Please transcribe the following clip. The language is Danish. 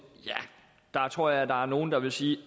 tror jeg der er nogle der vil sige